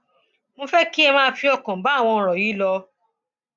mo fẹ kí ẹ máa fi ọkàn bá àwọn ọrọ yìí lò ó